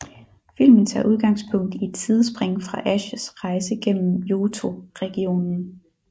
Filmen tager udgangspunkt i et sidspring fra Ashs rejse gennem Johto regionen